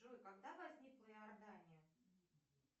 джой когда возникла иордания